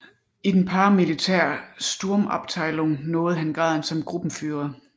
I den paramilitære Sturmabteilung nåede han graden som Gruppenführer